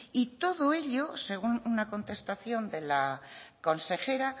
y todo ello según una contestación de la consejera